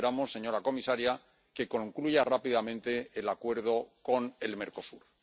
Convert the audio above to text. Y esperamos, señora comisaria, que concluya rápidamente el acuerdo con el Mercosur.